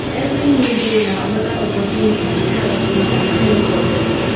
evri new day na anoda opportunity to try again i tank god